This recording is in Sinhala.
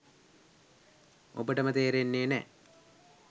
ඔබටම තේරෙන්නේ නෑ